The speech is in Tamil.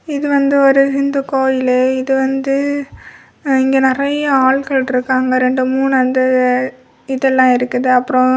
இது வந்து ஒரு ஹிந்து கோயிலு இது வந்து இங்க நிறைய ஆள்கள் இருக்காங்க. ரெண்டு மூணு அந்த இதெல்லாம் இருக்குது அப்ரோ--